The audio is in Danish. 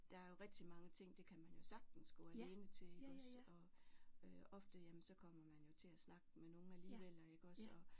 Der er jo rigtig mange ting det kan man jo sagtens gå alene til iggås og øh ofte jamen så kommer man jo til at snakke med nogen alligevel iggås og